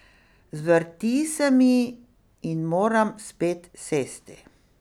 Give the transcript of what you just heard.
Zvrti se mi in moram spet sesti.